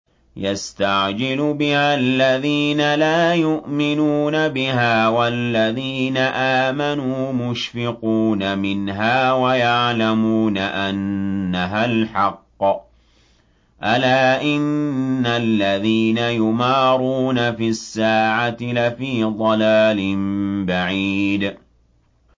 يَسْتَعْجِلُ بِهَا الَّذِينَ لَا يُؤْمِنُونَ بِهَا ۖ وَالَّذِينَ آمَنُوا مُشْفِقُونَ مِنْهَا وَيَعْلَمُونَ أَنَّهَا الْحَقُّ ۗ أَلَا إِنَّ الَّذِينَ يُمَارُونَ فِي السَّاعَةِ لَفِي ضَلَالٍ بَعِيدٍ